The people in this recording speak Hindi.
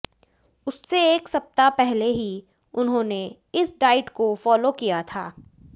उससे एक सप्ताह पहले ही उन्होंने इस डाइट को फॉलो किया था